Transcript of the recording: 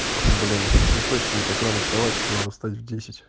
блин не хочется мне так рано вставать что надо встать в десять